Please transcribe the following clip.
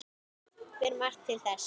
Ber margt til þess.